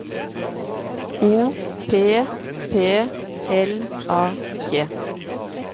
O P P L A G